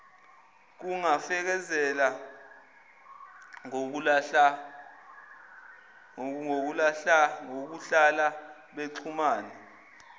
kungafezeka ngokuhlala bexhumana